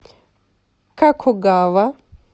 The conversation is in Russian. какогава